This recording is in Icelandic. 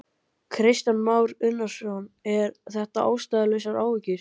Kristján Már Unnarsson: Er þetta ástæðulausar áhyggjur?